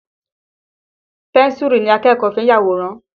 Pẹ́ńsùrù ni akẹ́kọ̀ọ́ fi ń yàwòrán.